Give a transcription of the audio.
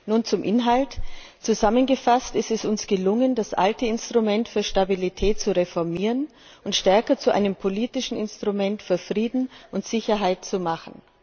Nun zum Inhalt Zusammengefasst Es ist uns gelungen, das alte Instrument für Stabilität zu reformieren und stärker zu einem politischen Instrument für Frieden und Sicherheit zu machen.